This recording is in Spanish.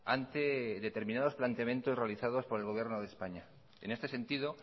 ante determinados planteamientos realizado por el gobierno de españa en este sentido